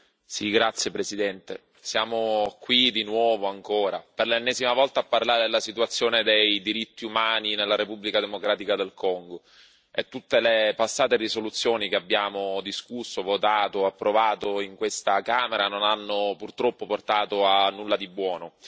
Signora Presidente, onorevoli colleghi, siamo qui, di nuovo, ancora, per l'ennesima volta, a parlare della situazione dei diritti umani nella Repubblica democratica del Congo. Tutte le passate risoluzioni che abbiamo discusso, votato e approvato in questa Camera non hanno purtroppo portato a nulla di buono.